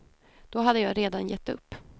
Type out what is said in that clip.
Då hade jag redan gett upp.